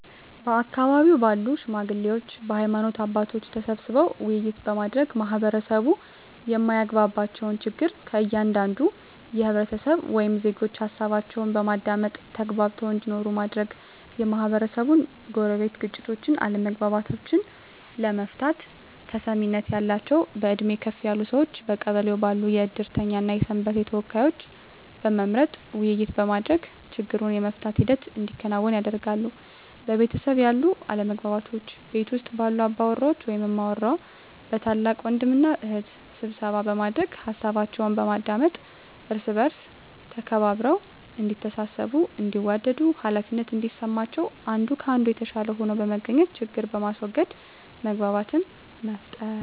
በአካባቢው ባሉ ሽማግሌዎች በሀይማኖት አባቶች ተሰብስበው ውይይት በማድረግ ማህበረሰቡ የማያግባባቸውን ችግር ከእያንዳንዱ ህብረተሰብ ወይም ዜጎች ሀሳባቸውን በማዳመጥ ተግባብተው እንዲኖሩ ማድረግ, የማህበረሰቡን የጎረቤት ግጭቶችን አለመግባባቶችን ለመፍታት ተሰሚነት ያላቸውን በእድሜ ከፍ ያሉ ሰዎችን በቀበሌው ባሉ የእድርተኛ እና የሰንበቴ ተወካዮችን በመምረጥ ውይይት በማድረግ ችግሩን የመፍታት ሂደት እንዲከናወን ያደርጋሉ። በቤተሰብ ያሉ አለመግባባቶችን ቤት ውስጥ ባሉ አባወራ ወይም እማወራ በታላቅ ወንድም እና እህት ስብሰባ በማድረግ ሀሳባቸውን በማዳመጥ እርስ በእርስ ተከባብረው እዲተሳሰቡ እንዲዋደዱ ሃላፊነት እንዲሰማቸው አንዱ ከአንዱ የተሻለ ሆኖ በመገኘት ችግርን በማስዎገድ መግባባትን መፍጠር።